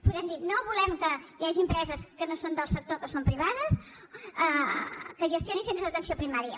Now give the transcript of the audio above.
podem dir no volem que hi hagi empreses que no són del sector que són privades que gestionin centres d’atenció primària